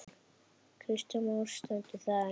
Kristján Már: Stendur það enn?